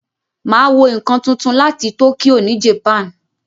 Máa wo ǹkan túntún láti Tokyo ni Japan.